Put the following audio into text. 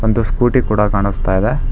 ಒಂದು ಸ್ಕೂಟಿ ಕೂಡ ಕಾಣುಸ್ತಾ ಇದೆ.